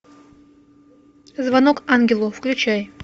звонок ангелу включай